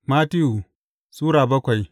Mattiyu Sura bakwai